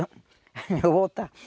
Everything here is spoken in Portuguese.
Eu vou voltar.